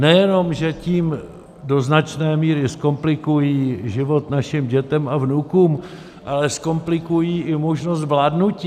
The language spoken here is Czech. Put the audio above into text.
Nejenom že tím do značné míry zkomplikují život našim dětem a vnukům, ale zkomplikují i možnost vládnutí.